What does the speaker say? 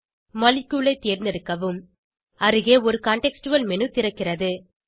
molecule ஐ தேர்ந்தெடுக்கவும் அருகே சூழ்நிலை சார்ந்த ஒரு மேனு திறக்கிறது